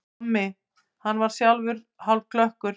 Tommi, hann var sjálfur hálfklökkur.